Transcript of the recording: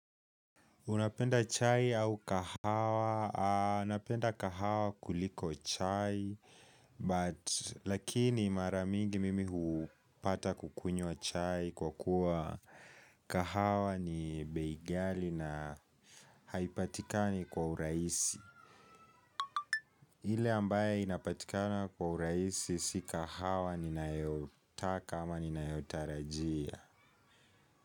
Unapenda chai au kahawa, napenda kahawa kuliko chai, but lakini mara mingi mimi hupata kukunywa chai kwa kuwa kahawa ni bei ghali na haipatikani kwa uraisi. Ile ambaye inapatikana kwa uraisi si kahawa ninayotaka ama ninayotarajia.